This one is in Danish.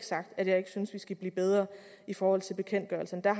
sagt at jeg ikke synes vi skal blive bedre i forhold til bekendtgørelserne der